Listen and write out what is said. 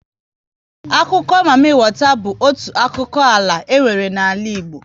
Akụkọ mami wata bụ otu akiko ala e nwere n'ala Igbo *